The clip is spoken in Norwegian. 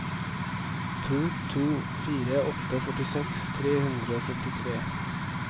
to to fire åtte førtiseks tre hundre og førtitre